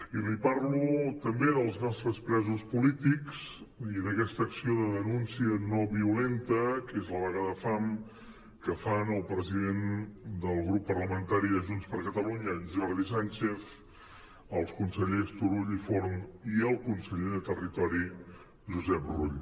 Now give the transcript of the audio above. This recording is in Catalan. i li parlo també dels nostres presos polítics i d’aquesta acció de denúncia no violenta que és la vaga de fam que fan el president del grup parlamentari de junts per catalunya jordi sànchez els consellers turull i forn i el conseller de territori josep rull